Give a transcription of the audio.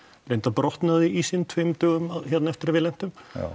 reyndar brotnaði ísinn tveimur dögum eftir að við lentum